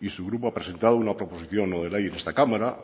y su grupo ha presentado una proposición no de ley en esta cámara